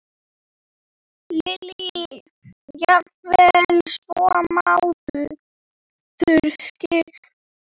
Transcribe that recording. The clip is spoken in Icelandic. Lillý: Jafnvel svo mánuðum skipti?